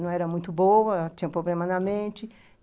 não era muito boa, tinha um problema na mente.